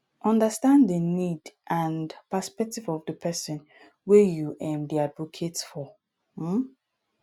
understand di need and perspective of di person wey you um dey advocate for um